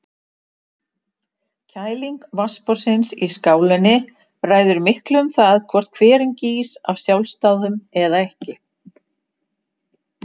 Kæling vatnsborðsins í skálinni ræður miklu um það hvort hverinn gýs af sjálfsdáðum eða ekki.